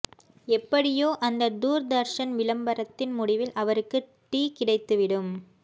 எப்படியோ அந்த தூர்தர்ஷன் விளம்பரத்தின் முடிவில் அவருக்கு டீ கிடைத்து விடும